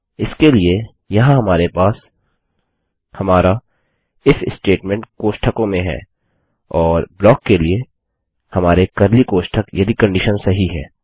इसके लिए यहाँ हमारे पास हमारा इफ स्टेटमेंट कोष्ठकों में है और ब्लाक के लिए हमारे कर्ली कोष्ठक यदि कंडिशन सही है